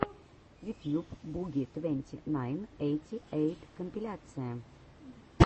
ютьюб буги твенти найн эйти эйт компиляция